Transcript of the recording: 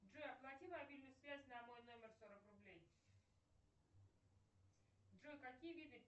джой оплати мобильную связь на мой номер сорок рублей джой какие виды